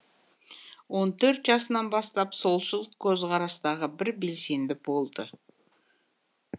он төрт жасынан бастап солшыл көзқарастағы бір белсенді болды